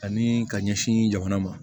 Ani ka ɲɛsin jamana ma